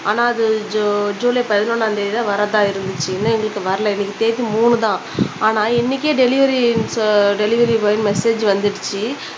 ஆனா அது ஜூ ஜூலை பதினொன்னாம் தேதி தான் வரதா இருந்துச்சு இன்னும் எங்களுக்கு வரல இன்னைக்கு தேதி மூனு தான் ஆனா இன்னைக்கே டெலிவரி டெலிவரிபாய் மெசேஜ் வந்துருச்சு